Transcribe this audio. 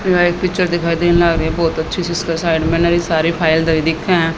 यह एक पिक्चर दिखाई देन लाग रही बहुत अच्छी सी इसके साइड में नई सारी फाइल दिखे हैं।